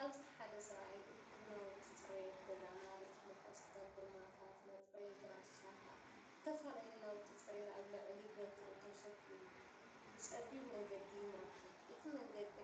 ኣብዚ ሓደ ሰብኣይ እኩብ ናውቲ ጽሬት ገዛ፡ ማለት መንኮስተር፡ጎማታት፡መጽረዪ ብራሻታትን እተፈላለየ ናውቲ ጽሬትን ኣብ ልዕሊ በትሩ ተሰኪሙ ብጸቢብ መገዲ ይመርሖም። እቲ መንገዲ